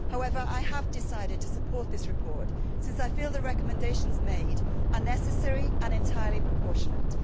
However, I have decided to support this report, since I feel that the recommendations made are necessary and entirely proportionate.